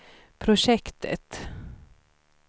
projektet